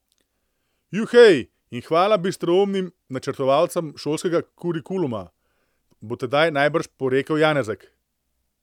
Juhej in hvala bistroumnim načrtovalcem šolskega kurikuluma, bo tedaj najbrž porekel Janezek.